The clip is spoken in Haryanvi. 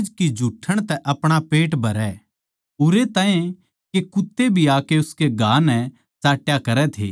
लाजर नाम का एक कंगाल जिसकै घा होरे थे उसकी देहळी पै छोड़ दिया जावै था